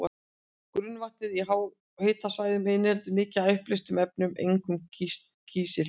Grunnvatnið í háhitasvæðunum inniheldur mikið af uppleystum efnum, einkum kísil.